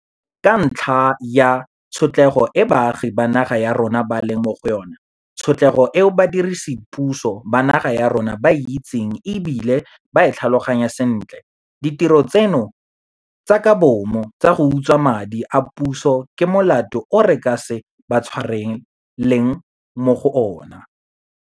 Ka ntlha ya tshotlego e baagi ba naga ya rona ba leng mo go yona, tshotlego e badiredipuso ba naga ya rona ba e itseng e bile ba e tlhaloganya sentle, ditiro tseno tsa ka bomo tsa go utswa madi a puso ke molato o re ka se ba tshwareleng mo go ona.